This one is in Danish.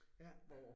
Ja